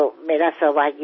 నమస్కారం